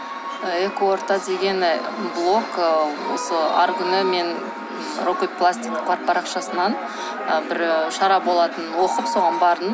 ы экоорта деген блог ы осы арғы күні мен рокетпластика парақшасынан бір і шара болатынын оқып соған бардым